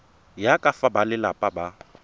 ya ka fa balelapa ba